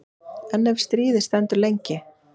En ef stríðið stendur lengi?